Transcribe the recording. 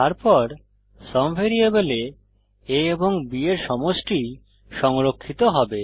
তারপর সুম ভ্যারিয়েবলে a এবং b এর সমষ্টি সংরক্ষিত হবে